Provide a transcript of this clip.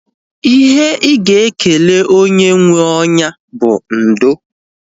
Ihe ị ga-ekele onye nwee onya bụ ndo